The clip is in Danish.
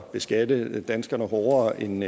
beskatte danskerne hårdere end